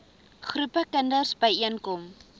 groepe kinders byeenkom